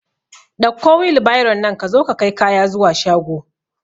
Ɗauko wilbairon nan ka zo ka kai kaya zuwa shago